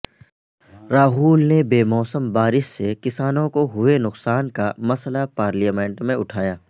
راہل نے بے موسم بارش سے کسانوں کو ہوئے نقصان کا مسئلہ پارلیمنٹ میں اٹھایا